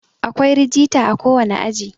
akwai rijita a kowane aji